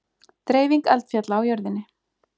Dreifing eldfjalla á jörðinni